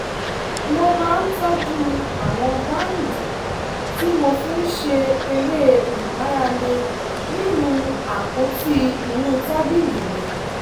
mo máa ń tọ́jú àwọn báǹdì tí mo fi ń ṣe eré ìmárale nínú àpótí inú tábìlì mi